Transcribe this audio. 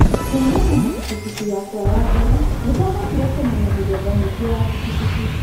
Kuumana na kibikibi yakwa ya mbere, nĩ ndahotire kũmenya mĩthemba mĩingĩ ya kibikibi.